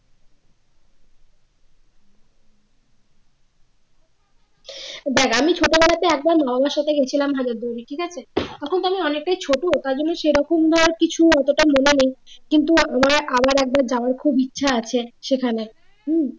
দেখ আমি ছোটবেলায় একবার মা বাবার সাথে গিয়েছিলাম ঠিক আছে তখন তো আমি অনেকটাই ছোট মানে সেরকম তো কিছু অতটা মনে নেই কিন্তু আমার আবার একবার যাওয়ার খুব ইচ্ছা আছে সেখানে হম